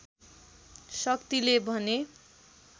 शक्तिले भने